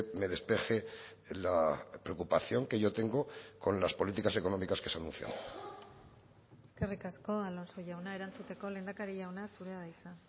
me despeje la preocupación que yo tengo con las políticas económicas que se anuncian eskerrik asko alonso jauna erantzuteko lehendakari jauna zurea da hitza